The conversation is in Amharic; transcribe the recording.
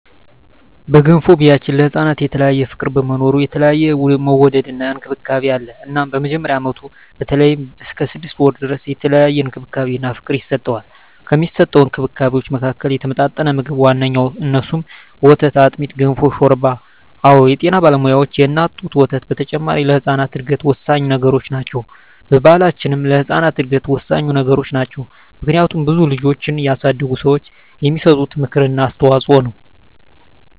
በገንፎ ቢያችን ለህፃናት የተለየ ፍቅር በመኖሩ የተለየ መወደድና እንክብካቤ አለ እናም በመጀመሪያ አመቱ በተለይም እስከ ስድስት ወሩ ድረስ የተለየ እንክብካቤና ፍቅር ይሰጠዋል። ከሚሰጠዉ እንክብካቤወች መካከልም የተመጣጠነ ምግብ ዋነኛዉ እነሱም፦ ወተት፣ አጥሚት፣ ገንፎ፣ ሾርባ አወ የጤና ባለሙያዋች የእናት ጡት ወተት በተጨማሪ ለህጻናት እድገት ወሳኚ ነገሮች ናቸው። በባሕላችንም ለህጻናት እድገት ወሳኚ ነገሮች ናቸው። ምክንያቱም ብዙ ልጆችን ያሳደጉ ሰዋች የሚሰጡት ምክር እና አስተዋጾ ነው።